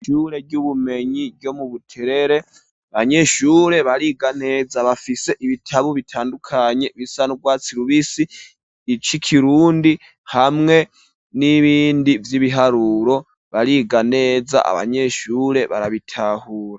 Ishure ry'ubumenyi ryo mu Buterere abanyeshure bariga neza bafise ibitabu bitandukanye bisanurwatsi rubisi, icikirundi hamwe n'ibindi vy'ibiharuro ,bariganeza abanyeshure barabitahura.